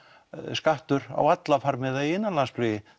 skattur á alla farmiða í innanlandsflugi